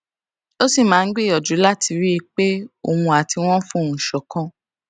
ó sì máa ń gbìyànjú láti rí i pé òun àti wọn fohùn ṣòkan